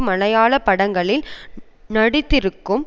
மலையாள படங்களில் நடித்திருக்கும்